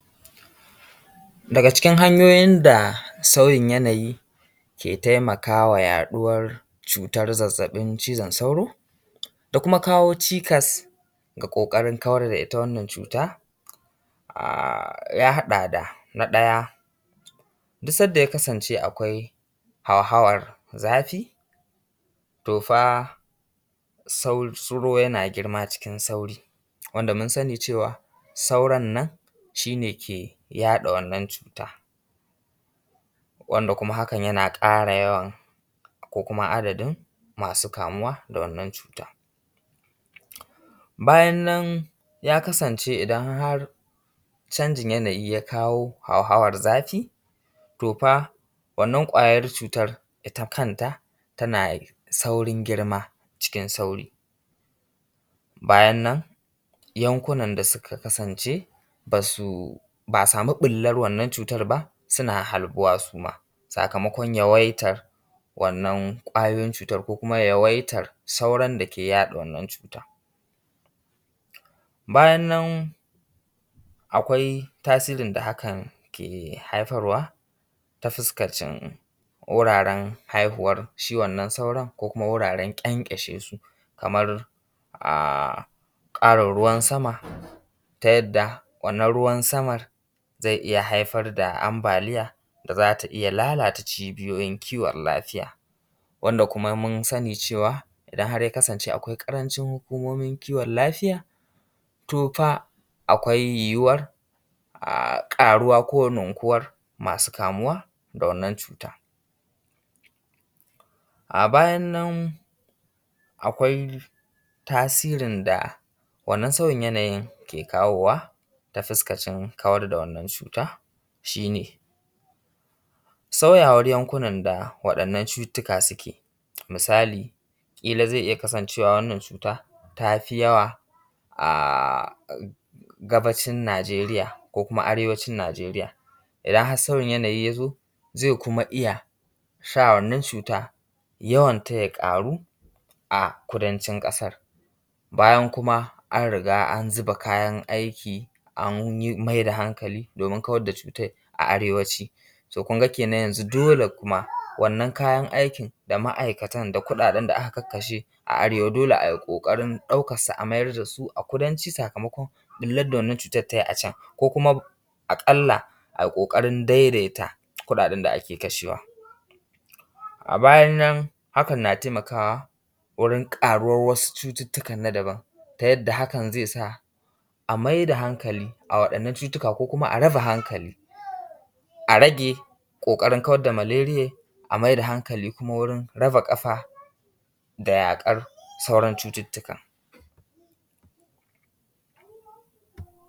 Daga cikin hanyoyin da sauyin yanayi ke taimakawa yaɗuwan zazabin cizon sauro da kuma kawo cikas ga ƙoƙarin kawar da ita wannan cuta ya haɗa da na ɗaya duk sanda ya kasance akwai hauhawar zafi to fa sauro yana girma cikin sauri wanda mun sani cewa sauran nan shi ne ke yaɗa wannan cuta wanda kuma hakan yana ƙara yawan ko kuma adadin masu kamuwa da wannan cutan. Bayan nan ya kasance idan har canjin yanayi ya kawo a huhawar zafi to fa wannan kwayar cutan ita kanta tana saurin girma cikin sauri, bayan nan yankunan da suka kasance ba su ba a samu ɓullar wannan cutan ba suna harbuwa suma sakamakon yawaitan wanann kwayoyin cutan ko kuma yawaitan sauran da ke yaɗa waɗannan cutan. Bayan nan akwai tasirin da hakan ke haifar wa ta fuskan can wuraren haihuwar shi wannan sauran ko kuma wuraren kyankyashesu a karin ruwan sama ta yarda wannan ruwan saman zai iya haifar da ambaliya za ta iya lalata cibiyoyin kiwon lafiya wanda kuma mun sani cewa idan ya kasance akwai ƙarancin hukumomin kiwon lafiya to fa, akwai yuwuwar ƙuwa ko raguwar masu kamuwa da wannan cutan. A bayan nan akwai tasirin da wannan sauyin yanayin ke kawowa ta fuskacin wannan kawar da wanann cuta shi ne sauyawar yankuna da wadɗnnan cututtuka suke. Misali kilan zai iya kasancewa wannan cuta tafi yawa a kudacin Najeriya ko kuma arewacin Najeriya, idan har sauyin yanayi ya zo zai kuma iya sa wanann cuta yawanta ya ƙaru a kudancin ƙasan. Bayan kuma an riga an zuba kayan aiki an yi mai da hankali wajen kawar da cutar a arewaci to kun ga yanzun kuma wanann kayan aikin da ma’aikatan da kuɗaɗen da aka karkashe a arewa dole ai ƙoƙarin ɗaukansa a mayar da su a kudanci sakamakon ɓullar da wanann cutan ta yi a can ko kuma aƙalla ai ƙoƙarin daidaita kuɗaɗaen da ake kashewa a bayan nan. Hakan na taimakawa wurin ƙaruwar wasu cututtuka na daban ta yanda hakan ke sa a mai da hankali a waɗannan cututtuka ko kuma a raba hankali a rage ƙoƙarin kawar da malariyar, a mai da hankali kuma wurin raba hankali da yaƙar sauran cututtuka.